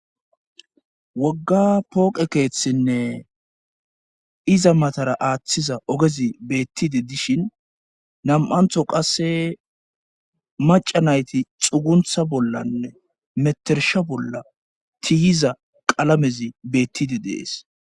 wogga pooqe keeththinne iza matara aaththiza ogezi beettide dishin nam7antho qasse maca nayti xuguntha bollanne metersha bolla tiihiza qalamezi beettide dees